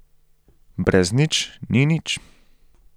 Brez nič ni nič.